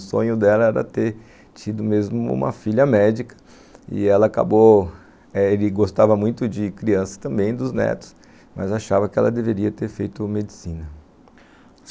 O sonho dela era ter tido mesmo uma filha médica e ela acabou... ele gostava muito de crianças também, dos netos, mas achava que ela deveria ter feito medicina.